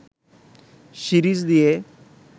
series দিয়ে